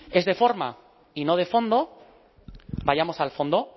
es de forma y no de fondo vayamos al fondo